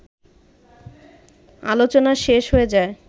আলোচনা শেষ হয়ে যায়